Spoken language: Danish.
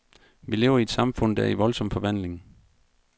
Vi lever i et samfund, der er i voldsom forvandling.